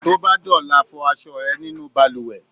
T'óbá d'ọ̀la, fọ aṣọ ẹ nínú balùwẹ̀!